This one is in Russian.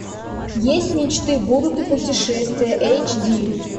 есть мечты будут и путешествия эйч ди